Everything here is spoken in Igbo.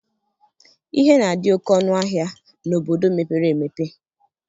Ihe na-adị oke ọnụ ahịa n'obodo mepere emepe